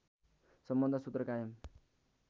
सम्बन्ध सूत्र कायम